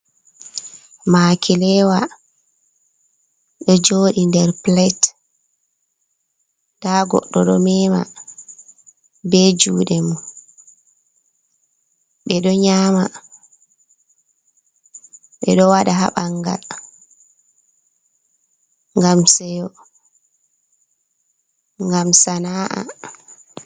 Makilewa ɗo joɗi nder plate, nda goɗɗo ɗo mema be juɗe ɓe ɗo nyama, ɓeɗo waɗa ha ɓangal ngam sana'a.